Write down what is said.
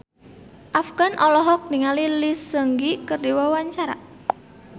Afgan olohok ningali Lee Seung Gi keur diwawancara